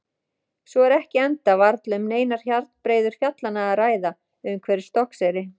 Svo er ekki enda varla um neinar hjarnbreiður fjallanna að ræða umhverfis Stokkseyri.